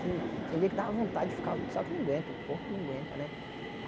Tem dia que dava vontade de ficar, só que não aguento, o corpo não aguenta, né?